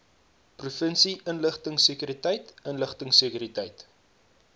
provinsie inligtingsekuriteit inligtingsekuriteit